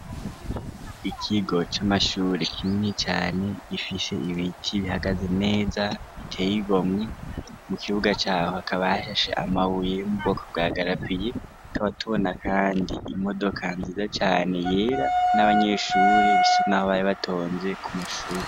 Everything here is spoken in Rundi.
Ikigo camashure kinini cane gifise Ibiti bihagaze neza biteye igomwe mu Kibuga caho hakaba hashashe amabuye yo mubwoko bwa garaviye tukaba tubona Kandi imodoka nziza Cane yera nabanyeshure bari batonze kumashure.